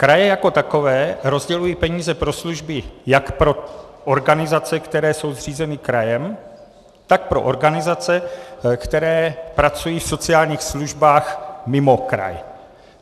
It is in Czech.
Kraje jako takové rozdělují peníze pro služby jak pro organizace, které jsou zřízeny krajem, tak pro organizace, které pracují v sociálních službách mimo kraj.